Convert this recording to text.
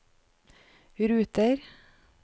ruter